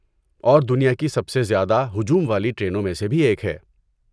اور دنیا کی سب سے زیادہ ہجوم والی ٹرینوں میں سے بھی ایک ہے۔